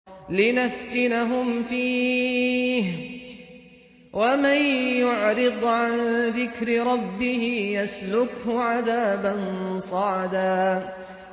لِّنَفْتِنَهُمْ فِيهِ ۚ وَمَن يُعْرِضْ عَن ذِكْرِ رَبِّهِ يَسْلُكْهُ عَذَابًا صَعَدًا